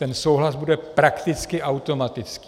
Ten souhlas bude prakticky automatický.